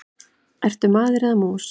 Ertu maður eða mús?